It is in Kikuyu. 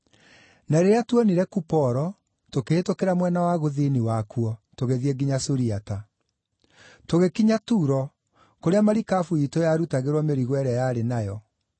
Na rĩrĩa tuonire Kuporo, tũkĩhĩtũkĩra mwena wa gũthini wakuo, tũgĩthiĩ nginya Suriata. Tũgĩkinya Turo, kũrĩa marikabu iitũ yarutagĩrwo mĩrigo ĩrĩa yarĩ nayo.